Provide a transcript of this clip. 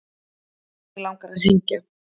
Mig langar að hengja